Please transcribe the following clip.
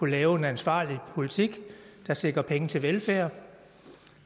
lave en ansvarlig politik der sikrer penge til velfærd og